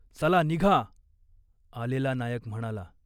"चला निघा !" आलेला नायक म्हणाला.